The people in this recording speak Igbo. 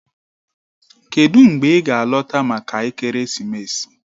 Kedụ mgbe ị ga-alọta maka ekeresimesi?